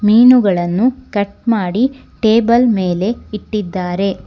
ಮೀನುಗಳನ್ನು ಕಟ್ ಮಾಡಿ ಟೇಬಲ್ ಮೇಲೆ ಇಟ್ಟಿದ್ದಾರೆ.